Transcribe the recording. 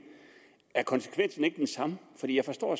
er konsekvensen ikke den samme jeg forstår